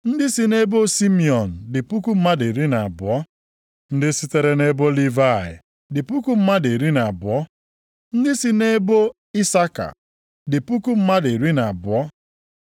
Ndị si nʼebo Simiọn dị puku mmadụ iri na abụọ (12,000). Ndị sitere nʼebo Livayị dị puku mmadụ iri na abụọ (12,000). Ndị si nʼebo Isaka dị puku mmadụ iri na abụọ (12,000).